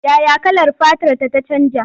Ya ya kalar fatarta ta canja?